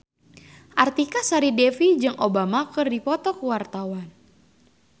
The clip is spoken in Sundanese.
Artika Sari Devi jeung Obama keur dipoto ku wartawan